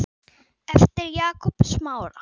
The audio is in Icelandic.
eftir Jakob Smára.